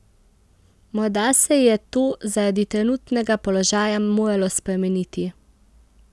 Morda se je to zaradi trenutnega položaja moralo spremeniti.